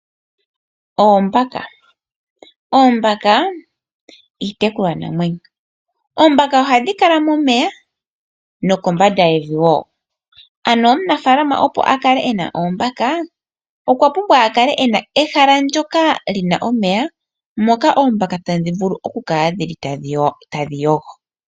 Oombaka iitekulwanamwenyo ohadhi kala momeya nokombanda yevi wo ano omunafalama opo a kale e na oombaka okwa pumbwa a kale e na ehala ndyoka li na omeya moka oombaka tadhi vulu okukala dhili tadhi yogo.